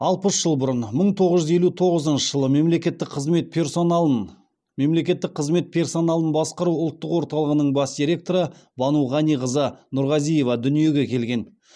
алпыс жыл бұрын мың тоғыз жүз елу тоғызыншы жылы мемлекеттік қызмет персоналын мемлекеттік қызмет персоналын басқару ұлттық орталығының бас директоры бану ғаниқызы нұрғазиева дүниеге келген